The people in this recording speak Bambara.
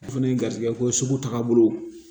O fɛnɛ ye garisigɛ ko sugu taga bolo